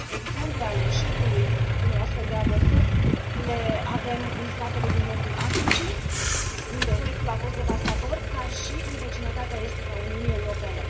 Exemple ale eșecului unei astfel de abordări le avem în statele din nordul Africii, unde efectul a fost devastator, dar și în vecinătatea estică a Uniunii Europene.